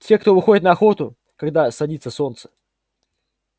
те кто выходит на охоту когда садится солнце